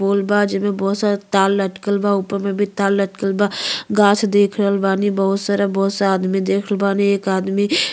पोल बा। जेमे बहुत सारा तार लटकल बा। ऊपर मे भी तार लटकल बा। घास देख रहल बानी बहुत सारा बहुत सा आदमी देख रहल बानी। एक आदमी --